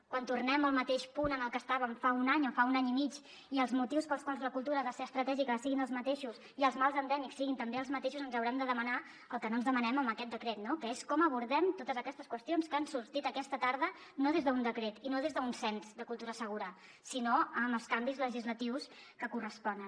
quan tornem al mateix punt en què estàvem fa un any o fa un any i mig i els motius pels quals la cultura ha de ser estratègica siguin els mateixos i els mals endèmics siguin també els mateixos ens haurem de demanar el que no ens demanem amb aquest decret no que és com abordem totes aquestes qüestions que han sortit aquesta tarda no des d’un decret i no des d’un cens de cultura segura sinó amb els canvis legislatius que corresponen